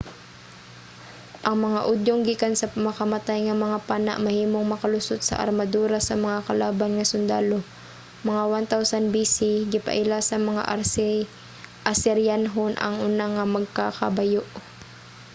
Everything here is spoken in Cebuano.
ang mga udyong gikan sa makamatay nga mga pana mahimong makalusot sa armadura sa mga kalaban nga sundalo. mga 1000 b.c,. gipaila sa mga asiryanhon ang una nga magkakabayo